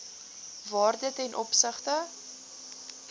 waarde ten opsigte